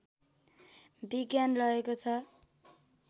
विज्ञान रहेको छ